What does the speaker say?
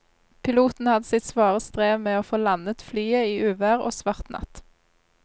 Piloten hadde sitt svare strev med å få landet flyet i uvær og svart natt.